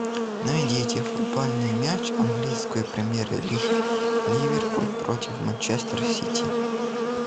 найдите футбольный матч английской премьер лиги ливерпуль против манчестер сити